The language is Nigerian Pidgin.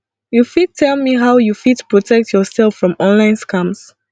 you fit tell me how you fit protect yourself from online scams